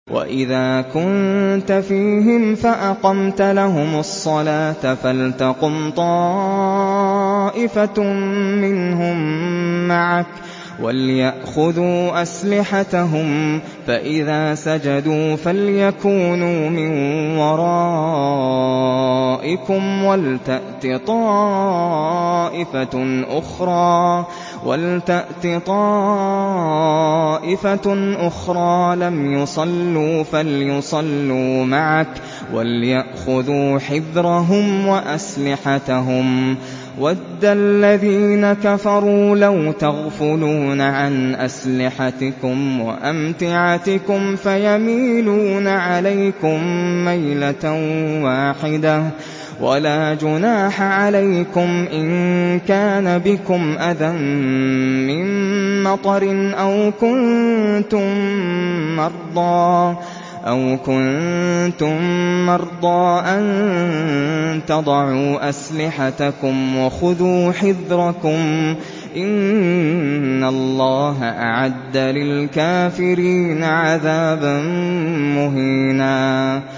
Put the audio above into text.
وَإِذَا كُنتَ فِيهِمْ فَأَقَمْتَ لَهُمُ الصَّلَاةَ فَلْتَقُمْ طَائِفَةٌ مِّنْهُم مَّعَكَ وَلْيَأْخُذُوا أَسْلِحَتَهُمْ فَإِذَا سَجَدُوا فَلْيَكُونُوا مِن وَرَائِكُمْ وَلْتَأْتِ طَائِفَةٌ أُخْرَىٰ لَمْ يُصَلُّوا فَلْيُصَلُّوا مَعَكَ وَلْيَأْخُذُوا حِذْرَهُمْ وَأَسْلِحَتَهُمْ ۗ وَدَّ الَّذِينَ كَفَرُوا لَوْ تَغْفُلُونَ عَنْ أَسْلِحَتِكُمْ وَأَمْتِعَتِكُمْ فَيَمِيلُونَ عَلَيْكُم مَّيْلَةً وَاحِدَةً ۚ وَلَا جُنَاحَ عَلَيْكُمْ إِن كَانَ بِكُمْ أَذًى مِّن مَّطَرٍ أَوْ كُنتُم مَّرْضَىٰ أَن تَضَعُوا أَسْلِحَتَكُمْ ۖ وَخُذُوا حِذْرَكُمْ ۗ إِنَّ اللَّهَ أَعَدَّ لِلْكَافِرِينَ عَذَابًا مُّهِينًا